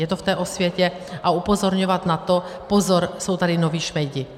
Je to v té osvětě a upozorňovat na to - pozor, jsou tady noví šmejdi!